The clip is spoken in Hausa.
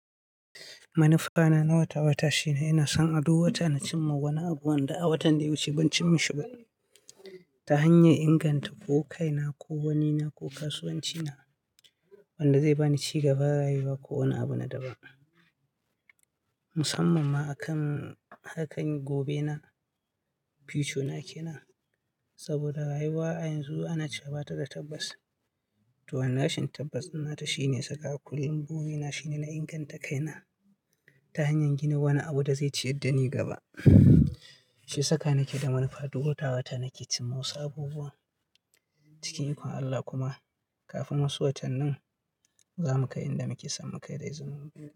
Manufa na na wata-wata shine ina son aduk wata na cimma wani abu wanda a watan da ya wuce ban cim ma shi ba ta hanyar inganta ko kai na, ko wani na, ko kasuwanci na, wanda zai bani cigaba, rayuwa ko wani abu na daban. Musamman ma akan harkan gobena, future na ke nan, saboda rayuwa a yanzu ana cewa bata da tabbas. To an rashin tabbas na ta shine saka akulin gumi na, shine na inganta kai na ta hanyar gina wani abu da zai ciyar da ni gaba. Shiya saka nake da manufa duk wata-wata, nake cimma wasu abubuwa cikin ikon Allah kuma kafin wasu watannin za mu kai inda muke son mu kai da iziinin ubangiji.